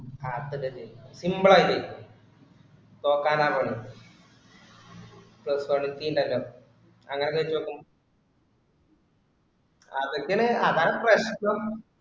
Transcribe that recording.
അതൊക്കെ ജയിക്കും simple ആയിട്ടു. തോൽക്കാനാ പാട്. first quality ഉണ്ടല്ലോ. അങ്ങിനെ ചോദിച്ചു നോക്കും. അതൊക്കെയാണ് അതാണ് പ്രശ്‍നം